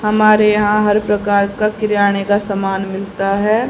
हमारे यहां हर प्रकार की किराने का सामान मिलता है।